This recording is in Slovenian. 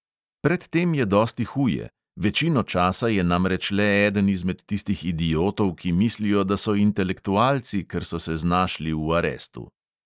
Pred tem je dosti huje: večino časa je namreč le eden izmed tistih idiotov, ki mislijo, da so intelektualci, ker so se znašli v arestu.